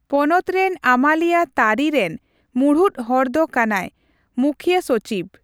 ᱯᱚᱱᱚᱛ ᱨᱮᱱ ᱟᱹᱢᱟᱹᱞᱤᱭᱟᱹ ᱛᱟᱹᱨᱤ ᱨᱮᱱ ᱢᱩᱬᱩᱫ ᱦᱚᱲᱫᱚ ᱠᱟᱱᱟᱭ ᱢᱩᱠᱷᱭᱟᱹᱥᱚᱪᱤᱵᱽ ᱾